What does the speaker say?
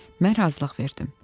Mən razılıq verdim.